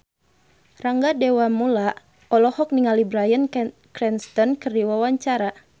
Rangga Dewamoela olohok ningali Bryan Cranston keur diwawancara